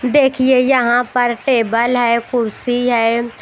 देखिए यहां पर टेबल है कुर्सी है।